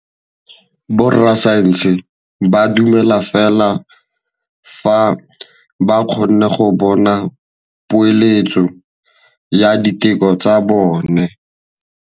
Borra saense ba dumela fela fa ba kgonne go bona poeletsô ya diteko tsa bone.